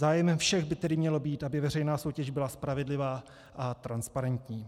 Zájmem všech by tedy mělo být, aby veřejná soutěž byla spravedlivá a transparentní.